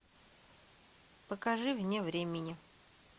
покажи вне времени